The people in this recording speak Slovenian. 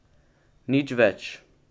Nič več.